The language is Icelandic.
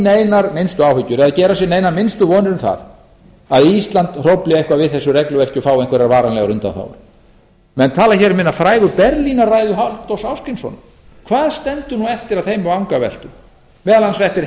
neinar minnstu áhyggjur eða gera sér neinar minnstu vonir um það að ísland hrófli eitthvað við þessu regluverki og fái einhverjar varanlegar undanþágur menn tala hér um hina frægu berlínarræðu halldórs ásgrímssonar hvað stendur eftir af þeim vangaveltum meðal annars